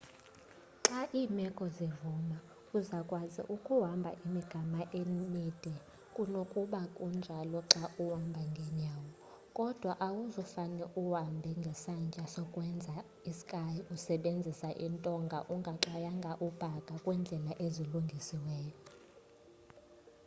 xa iimeko zivuma uza kukwazi ukuhamba imigama emide kunokba kunjalo xa uhamba ngenyawo kodwa awuzufane uhambe ngesantya sokwenza i-ski usebenzisa iintonga ungaxwayanga ubhaka kwiindlela ezilungisiweyo